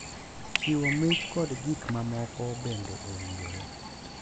Chiwo mich kod gik mamoko bende owinjore.